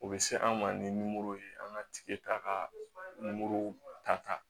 O bɛ se an ma nimoro ye an ka tigi ta ka ta